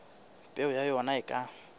peo ya ona e ka